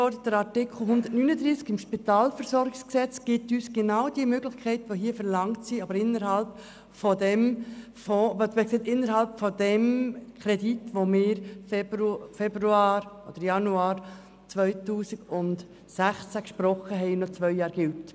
Der Artikel 139 SpVG gibt uns genau diese Möglichkeit, die hier verlangt wird, aber innerhalb des Kredits, den wir im Januar 2016 gesprochen haben und der noch während zwei Jahren läuft.